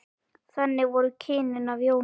Þannig voru kynnin af Jónu.